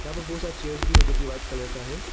यहां प बहुत सारा चेयर्स भी है जो की वाइट कलर का है।